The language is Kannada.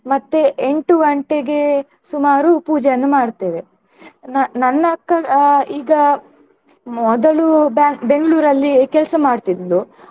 ಮತ್ತೆ ಎಂಟು ಗಂಟೆಗೆ ಸುಮಾರು ಪೂಜೆಯನ್ನು ಮಾಡ್ತೇವೆ ನ~ ನನ್ನ ಅಕ್ಕ ಅಹ್ ಈಗ ಮೊದಲು ಬಾ~ ಬೆಂಗಳೂರಲ್ಲಿ ಕೆಲಸ ಮಾಡ್ತಿದ್ಲು.